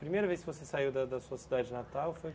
Primeira vez que você saiu da da sua cidade natal foi?